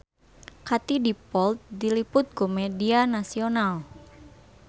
Katie Dippold diliput ku media nasional